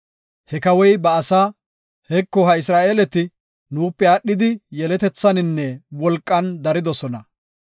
He kawoy ba asaa, “Heko, ha Isra7eeleti nuupe aadhidi yeletethaninne wolqan daridosona.